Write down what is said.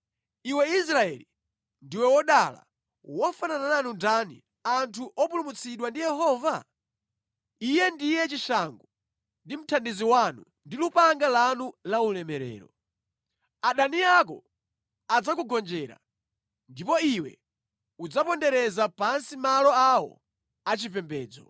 Iwe Israeli, ndiwe wodala! Wofanana nanu ndani anthu opulumutsidwa ndi Yehova? Iye ndiye chishango ndi mthandizi wanu ndi lupanga lanu la ulemerero. Adani ako adzakugonjera, ndipo iwe udzapondereza pansi malo awo achipembedzo.”